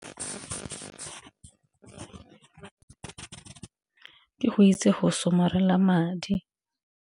Ke go itse go somarela madi.